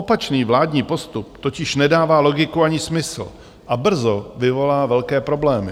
Opačný vládní postup totiž nedává logiku ani smysl a brzo vyvolá velké problémy.